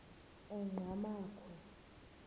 enqgamakhwe